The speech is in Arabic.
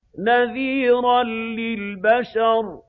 نَذِيرًا لِّلْبَشَرِ